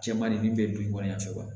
Cɛman de min bɛ dugu kɔnɔ yan fɛ wa